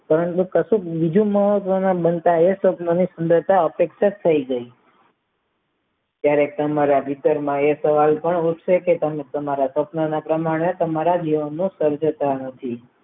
પરંતુ કસું બીજું માહોલ દ્વારા બનતા એ સ્વપ્નને અપેક્ષાત થાય ગયા ત્યારે ત્યારે તમે તમારા સ્વપ્નના પ્રમાણ એ તમારા જીવનનું સર્જાતા નથી